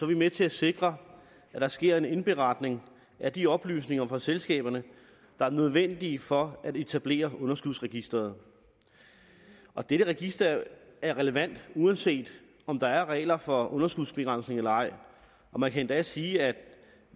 vi med til at sikre at der sker en indberetning af de oplysninger fra selskaberne der er nødvendige for at etablere underskudsregisteret dette register er relevant uanset om der er regler for underskudsbegrænsning eller ej og man kan endda sige at